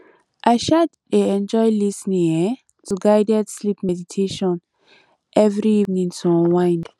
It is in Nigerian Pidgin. i um dey enjoy lis ten ing um to guided sleep meditation every evening to unwind